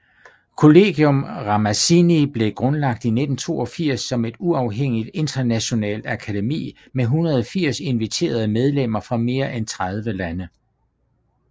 Collegium Ramazzini blev grundlagt i 1982 som et uafhængigt internationalt akademi med 180 inviterede medlemmer fra mere end 30 lande